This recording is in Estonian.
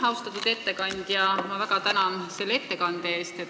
Austatud ettekandja, ma väga tänan selle ettekande eest!